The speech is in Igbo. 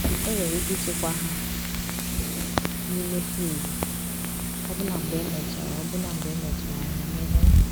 Enwere ike ịchekwa ha n’ime friji, ọbụna mgbe emechara ọbụna mgbe emechara ha emeghe.